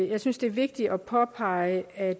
jeg synes det er vigtigt at påpege at